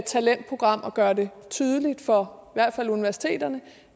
talentprogram og gøre det tydeligt for hvert fald universiteterne